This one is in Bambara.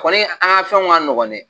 Kɔni an ka fɛn ka nɔgɔn dɛ?